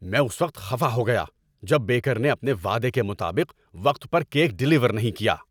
میں اس وقت خفا ہو گیا جب بیکر نے اپنے وعدے کے مطابق وقت پر کیک ڈیلیور نہیں کیا۔